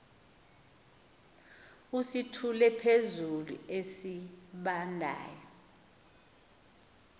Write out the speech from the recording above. usithule phezulu esibandayo